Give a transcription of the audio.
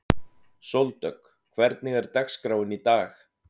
Sóldögg, hvernig er dagskráin í dag?